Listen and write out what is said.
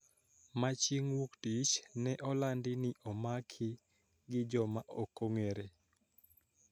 Ma chieng` Wuok Tich ne olandi ni omaki gi joma ok ong`ere.